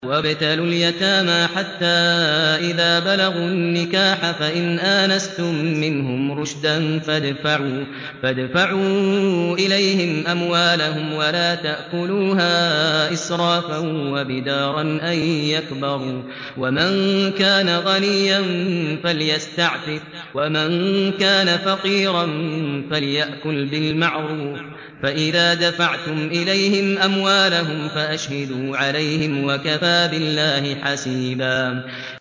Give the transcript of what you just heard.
وَابْتَلُوا الْيَتَامَىٰ حَتَّىٰ إِذَا بَلَغُوا النِّكَاحَ فَإِنْ آنَسْتُم مِّنْهُمْ رُشْدًا فَادْفَعُوا إِلَيْهِمْ أَمْوَالَهُمْ ۖ وَلَا تَأْكُلُوهَا إِسْرَافًا وَبِدَارًا أَن يَكْبَرُوا ۚ وَمَن كَانَ غَنِيًّا فَلْيَسْتَعْفِفْ ۖ وَمَن كَانَ فَقِيرًا فَلْيَأْكُلْ بِالْمَعْرُوفِ ۚ فَإِذَا دَفَعْتُمْ إِلَيْهِمْ أَمْوَالَهُمْ فَأَشْهِدُوا عَلَيْهِمْ ۚ وَكَفَىٰ بِاللَّهِ حَسِيبًا